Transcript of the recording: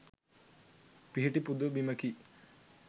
පිහිටි පුද බිමකි.